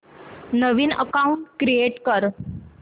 नवीन account create कर